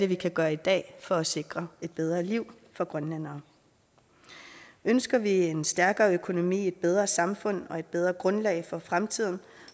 vi kan gøre i dag for at sikre et bedre liv for grønlændere ønsker vi en stærkere økonomi et bedre samfund og et bedre grundlag for fremtiden